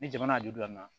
Ni jamana y'a juru dilan